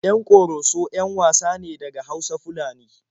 Yan Ƙoroso 'yan wasa ne daga Hausa-Fulani.